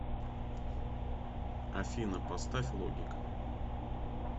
афина поставь логик